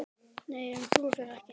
Nei, ég trúi þér ekki.